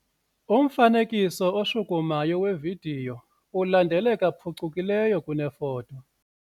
Umfanekiso oshukumayo wevidiyo ulandeleka phucukileyo kunefoto.